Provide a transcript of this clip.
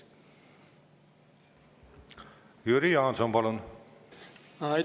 Jüri Jaanson, palun!